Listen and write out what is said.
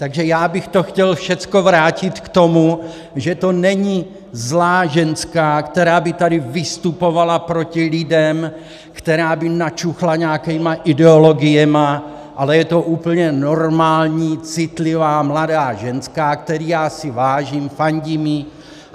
Takže já bych to chtěl všechno vrátit k tomu, že to není zlá ženská, která by tady vystupovala proti lidem, která by načuchla nějakými ideologiemi, ale je to úplně normální citlivá mladá ženská, které já si vážím, fandím jí.